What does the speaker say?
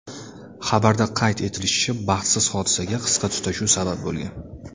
Xabarda qayd etilishicha, baxtsiz hodisaga qisqa tutashuv sabab bo‘lgan.